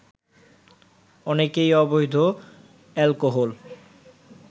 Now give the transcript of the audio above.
অনেকেই অবৈধ অ্যালকোহল